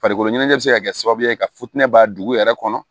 Farikolo ɲɛnajɛ bɛ se ka kɛ sababu ye ka futinɛba dugu yɛrɛ kɔnɔ